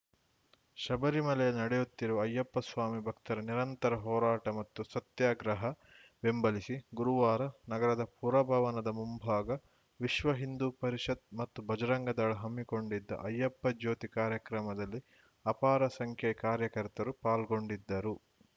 ಶಬರಿಮಲೆಯಲ್ಲಿ ನಡೆಯುತ್ತಿರುವ ಅಯ್ಯಪ್ಪ ಸ್ವಾಮಿ ಭಕ್ತರ ನಿರಂತರ ಹೋರಾಟ ಮತ್ತು ಸತ್ಯಾಗ್ರಹ ಬೆಂಬಲಿಸಿ ಗುರುವಾರ ನಗರದ ಪುರಭವನದ ಮುಂಭಾಗ ವಿಶ್ವ ಹಿಂದೂ ಪರಿಷತ್‌ ಮತ್ತು ಬಜರಂಗ ದಳ ಹಮ್ಮಿಕೊಂಡಿದ್ದ ಅಯ್ಯಪ್ಪ ಜ್ಯೋತಿ ಕಾರ್ಯಕ್ರಮದಲ್ಲಿ ಅಪಾರ ಸಂಖ್ಯೆಯ ಕಾರ್ಯಕರ್ತರು ಪಾಲ್ಗೊಂಡಿದ್ದರು